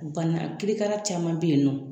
Bana kirikara caman be yen nɔ